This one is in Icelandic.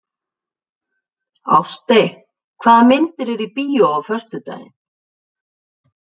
Ástey, hvaða myndir eru í bíó á föstudaginn?